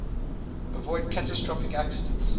avoid catastrophic accidents